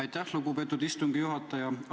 Aitäh, lugupeetud istungi juhataja!